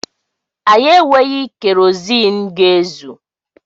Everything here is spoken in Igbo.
Anyị enweghị keroziin ga-ezù.